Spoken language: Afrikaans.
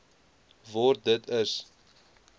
word dit is